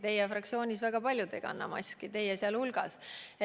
Teie fraktsioonis väga paljud ei kanna maski, teie sealhulgas.